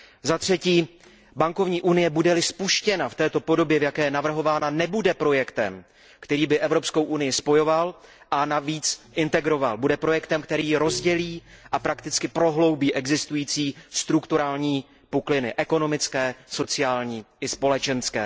Zatřetí bankovní unie, bude li spuštěna v této podobě, v jaké je navrhována, nebude projektem, který by Evropskou unii spojoval a navíc integroval, bude projektem, který ji rozdělí a prakticky prohloubí existující strukturální pukliny ekonomické, sociální i společenské.